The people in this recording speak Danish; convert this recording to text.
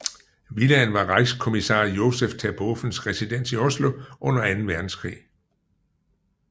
Villaen var Reichskommissar Josef Terbovens residens i Oslo under anden verdenskrig